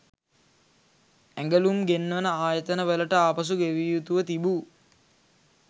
ඇඟළුම් ගෙන්වන ආයතන වලට ආපසු ගෙවිය යුතුව තිබූ